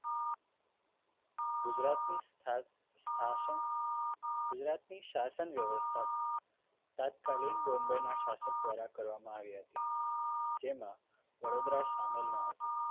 ગુજરાતની સ્થ સ્થાસન ગુજરાત ની શાસન વ્યવસ્થા તાત્કાલિન બોમ્બેના શાસક દ્વારા કરવામાં આવી હતી જેમાં વડોદરા સામેલ ન હતું